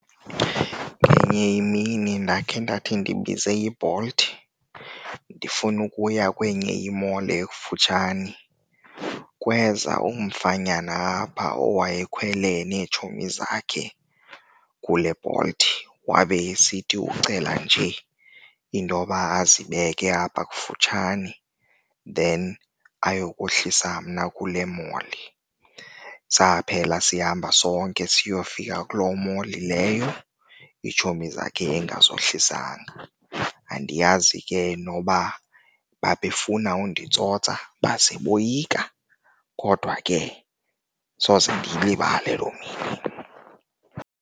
Ngenye imini ndakhe ndathi ndibize yiBolt ndifuna ukuya kwenye i-mall ekufutshane kweza umfanyana apha owaye khwele neetshomi zakhe kuleBolt wabe esithuthi ucela nje intoba azibeke apha kufutshane then ayokohlolisa mna kule mall. Saphela sihamba sonke siyofika kuloo mall leyo, iitshomi zakhe engazohlisanga. Andiyazi ke noba babefuna unditsotsa baze boyika kodwa ke soze ndiyilibale loo mini.